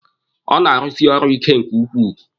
Ọ na-arusi ọrụ ike nke ukwuu.